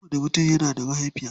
Kowanni mutum yana da mahaifiya.